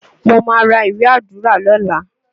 Mo má ra ìwé Àdúrà lọ́la.